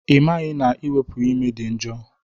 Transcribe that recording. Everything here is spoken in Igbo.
Ị maghị na iwepu ime dị njo?